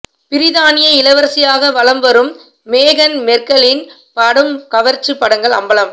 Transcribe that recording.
பிரித்தானிய இளவரசியாக வலம் வரும் மேகன் மெர்க்கலின் படும் கவர்ச்சி படங்கள் அம்பலம்